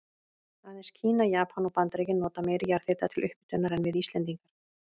Aðeins Kína, Japan og Bandaríkin nota meiri jarðhita til upphitunar en við Íslendingar.